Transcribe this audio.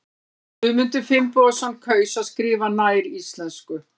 Guðmundur Finnbogason kaus að skrifa nær íslensku.